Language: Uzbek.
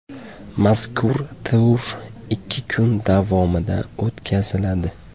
Mazkur tur ikki kun davomida o‘tkaziladi.